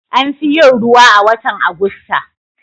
An fi yin ruwa a watan Agusta.